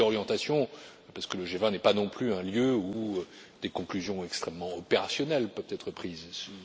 Je dis orientations parce que le G20 n'est pas non plus un lieu où des conclusions extrêmement opérationnelles peuvent être adoptées.